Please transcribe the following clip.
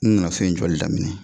N nana fɛn in joli daminɛ